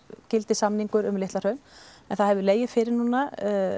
gildir samningur um Litla Hraun en það hefur legið fyrir núna